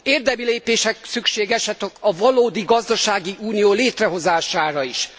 Érdemi lépések szükségesek a valódi gazdasági unió létrehozására is.